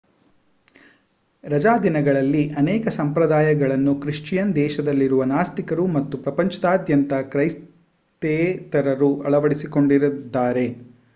ರಜಾದಿನಗಳಲ್ಲಿ ಅನೇಕ ಸಂಪ್ರದಾಯಗಳನ್ನು ಕ್ರಿಶ್ಚಿಯನ್ ದೇಶಗಳಲ್ಲಿರುವ ನಾಸ್ತಿಕರು ಮತ್ತು ಪ್ರಪಂಚದಾದ್ಯಂತ ಕ್ರೈಸ್ತೇತರರು ಅಳವಡಿಸಿಕೊಂಡಿದ್ದಾರೆ